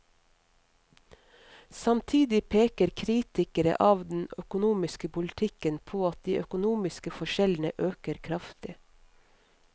Samtidig peker kritikere av den økonomiske politikken på at de økonomiske forskjellene øker kraftig.